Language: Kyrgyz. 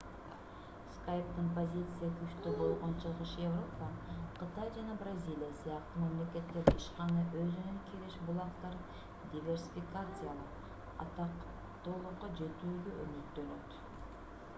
skype'тын позициясы күчтүү болгон чыгыш европа кытай жана бразилия сыяктуу мамлекеттерде ишкана өзүнүн киреше булактарын диверсификациялап атактуулукка жетүүгө үмүттөнөт